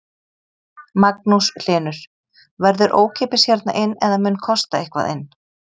Magnús Hlynur: Verður ókeypis hérna inn eða mun kosta eitthvað inn?